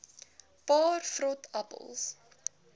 paar vrot appels